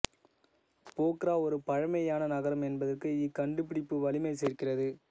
போக்ரா ஒரு பழைமையான நகரம் என்பதற்கு இக்கண்டுபிடிப்பு வலிமை சேர்க்கிறது